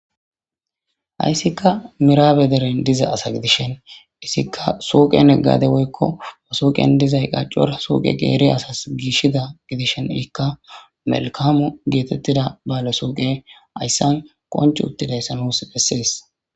Hayssika miraabe deren diza asa gidishen isikka suqen eggade woykko suuqen dizay qaccor suuqe geere asas giishida gidishen ikka melkamu geetettida baale suuqe ayssan qonch uttidayssanos bessees.